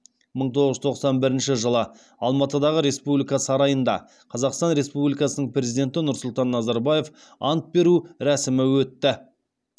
мың тоғыз жүз тоқсан бірінші жылы алматыдағы республика сарайында қазақстан республикасының президенті нұрсұлтан назарбаев ант беру рәсімі өтті